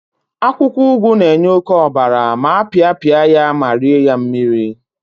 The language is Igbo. akwukwo ugu na-enye oke obara ma apiapia ya ma rie ya mmiri